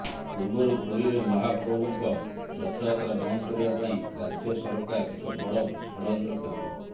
ପୂର୍ବରୁ ପୁରୀରେ ମହାପ୍ରଭୃଙ୍କ ରଥଯାତ୍ରା ବନ୍ଦ କରିବା ପାଇଁ ରାଜ୍ୟସରକାର ଏକ ବଡ ଷଡଯନ୍ତ୍ର କରିଥିଲେ